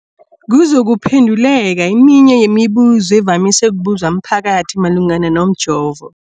kuzokuphe nduleka eminye yemibu zo evamise ukubuzwa mphakathi malungana nomjovo.